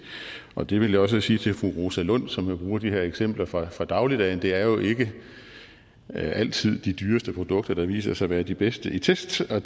og det vil jeg også sige til fru rosa lund som jo bruger de her eksempler fra fra dagligdagen det er jo ikke altid de dyreste produkter der viser sig at være de bedste i tests og